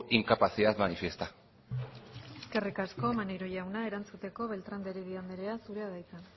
incapacidad manifiesta eskerrik asko maneiro jauna erantzuteko beltrán de heredia andrea zurea da hitza